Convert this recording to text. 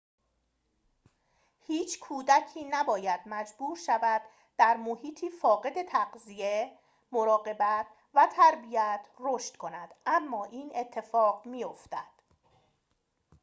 هیچ کودکی نباید مجبور شود در محیطی فاقد تغذیه مراقبت و تربیت رشد کند اما این اتفاق می‌افتد